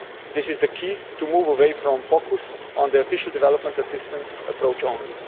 This is the key to moving away from focus on the official development assistance approach alone.